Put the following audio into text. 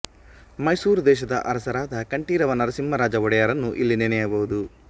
ಮೈಸೂರು ದೇಶದ ಅರಸರಾದ ಕಂಠೀರವ ನರಸಿಂಹರಾಜ ಒಡೆಯರನ್ನು ಇಲ್ಲಿ ನೆನೆಯಬಹುದು